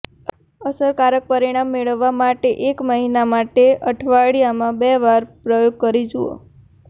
અસરકારક પરિણામ મેળવવા માટે એક મહિના માટે અઠવાડિયામાં બેવાર આ પ્રયોગ કરી જુઓ